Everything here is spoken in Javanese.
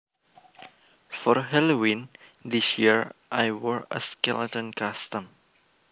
For Halloween this year I wore a skeleton costume